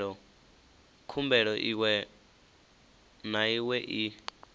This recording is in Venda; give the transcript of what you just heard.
khumbelo iwe na iwe i